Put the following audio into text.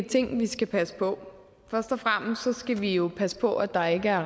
ting vi skal passe på først og fremmest skal vi jo passe på at der ikke er